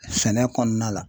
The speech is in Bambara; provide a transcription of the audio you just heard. Sɛnɛ kɔnɔna la